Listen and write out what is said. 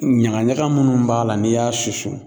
Ɲaga ɲaga minnu b'a la n'i y'a susu